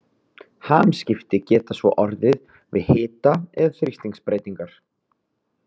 Hamskipti geta svo orðið við hita- eða þrýstingsbreytingar.